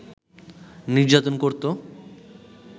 নির্যাতন করতো